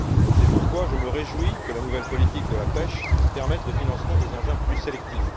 C'est pourquoi je me réjouis que la nouvelle politique de la pêche permette le financement des engins plus sélectifs.